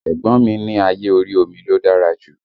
Ẹ̀gbọ́n mi ní ayé orí omi ló dára jù